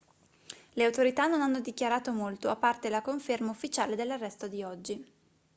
le autorità non hanno dichiarato molto a parte la conferma ufficiale dell'arresto di oggi